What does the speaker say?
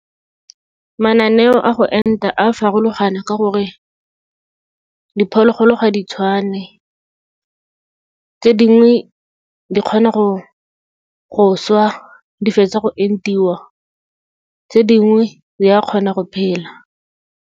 Mananeo a go enta a farologana, ka gore diphologolo ga di tshwane. Tse dingwe di kgona go swa di fetsa go entiwa, tse dingwe di ya kgona go phela.